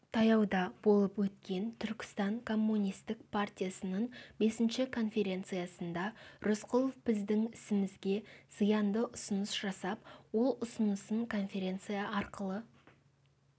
таяуда болып өткен түркістан коммунистік партиясының бесінші конференциясында рысқұлов біздің ісімізге зиянды ұсыныс жасап ол ұсынысын конференция арқылы